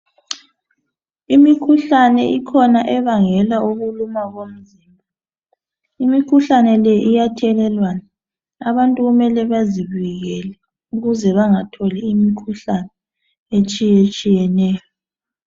Imikhuhlane ikhona ebangela ukuluma komzimba. Imikhuhlane le iyathelelwana. Abantu kumele bazivikele ukuze bangatholi imikhuhlane etshiyetshiyeneyo.